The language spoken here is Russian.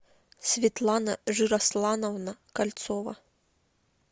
светлана жирослановна кольцова